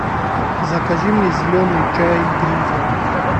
закажи мне зеленый чай гринфилд